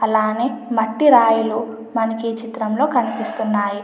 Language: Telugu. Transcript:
అలానే మట్టి రాయిలు మనకి ఈ చిత్రంలో కనిపిస్తున్నాయి.